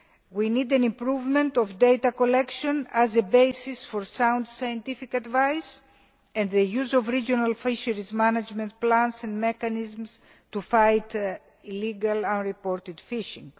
We need an improvement of data collection as a basis for sound scientific advice and the use of regional fisheries management plans and mechanisms to fight illegal unreported fishing.